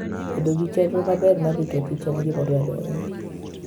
Bedo gi chenro maber mar rito kichen gima dwarore ahinya.